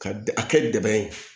Ka a kɛ deba ye